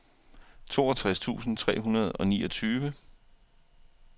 toogtres tusind tre hundrede og niogtyve